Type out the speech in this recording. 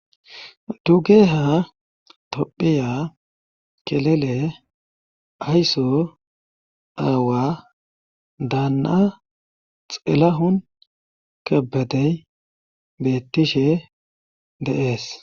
Dugeha tophiya kelele aysso aawa daana xelahun kabadey beettishe de7ees.